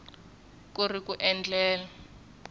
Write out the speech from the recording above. ku ri ku endlela ku